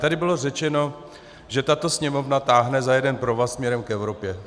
Tady bylo řečeno, že tato Sněmovna táhne za jeden provaz směrem k Evropě.